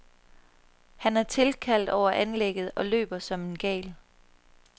Han er tilkaldt over anlægget og løber som en gal.